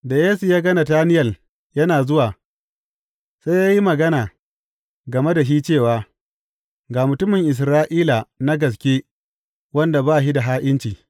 Da Yesu ya ga Natanayel yana zuwa, sai ya yi magana game da shi cewa, Ga mutumin Isra’ila na gaske wanda ba shi da ha’inci.